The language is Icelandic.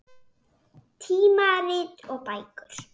Tímarit og bækur.